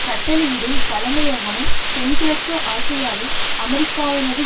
கட்டளையிடும் தலைமையகமும் தென்கிழக்கு ஆசியாவில் அமெரிக்காவினது